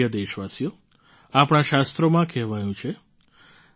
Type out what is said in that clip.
મારા પ્રિય દેશવાસીઓ આપણાં શાસ્ત્રોમાં કહેવાયું છે